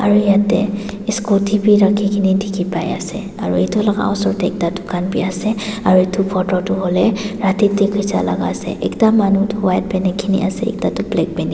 Aro yatheh scooty bhi rakhikena dekhi pai ase aro etu laga osor dae ekta dukhan bhi ase aro etu photo tuh hoile rati dae kechya laga ase ekta manu tuh white phenekena ase aro ekta tuh black pheneke--